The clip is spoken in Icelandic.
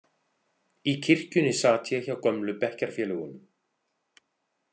Í kirkjunni sat ég hjá gömlu bekkjarfélögunum.